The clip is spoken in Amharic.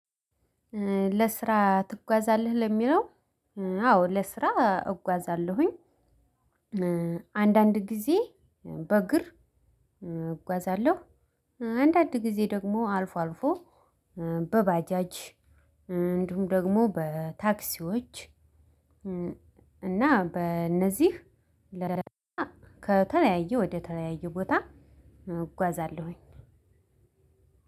ለስራ ትጓዛለህ? ለሚለው አዎ ለስራ እጓዛለሁኝ። አንዳንድ ግዜ በእግር እጓዛለሁ። አንዳድ ግዜ ደግሞ አልፎ አልፎ በባጃጅ፣ እንዲሁም ደግሞ በታክሲዎች እና በእነዚህ ከተለያዩ ወደ ተለያዩ ቦታ እጓዛለሁኝ።